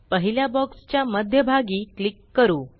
पहिल्या बॉक्स च्या मध्य भागी क्लिक करू